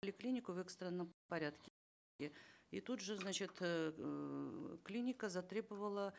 поликлинику в экстренном и тут же значит эээ клиника затребовала